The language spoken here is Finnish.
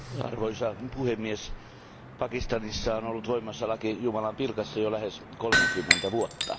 Arvoisa puhemies, Pakistanissa on ollut voimassa laki jumalanpilkasta jo lähes kolmekymmentä vuotta.